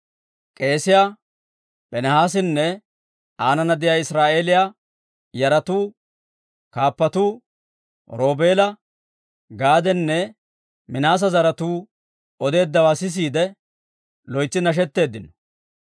K'eesiyaa Piinihaasinne aanana de'iyaa Israa'eeliyaa yaratuu kaappatuu, Roobeela, Gaadanne Minaase zaratuu odeeddawaa sisiide, loytsi nashetteeddino.